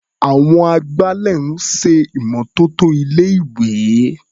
Àwọn agbálẹ̀ ń ṣè ìmọ́tótó ilé-ìwé.